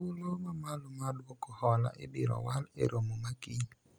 thuolo mamalo mar duoko hola ibiro wal e romo ma kiny